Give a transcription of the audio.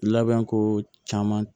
Labɛn ko caman